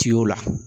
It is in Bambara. Tiyo la